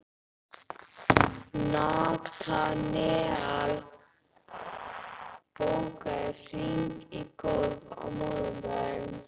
Natanael, bókaðu hring í golf á mánudaginn.